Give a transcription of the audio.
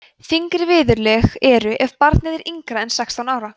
þyngri viðurlög eru ef barnið er yngra en sextán ára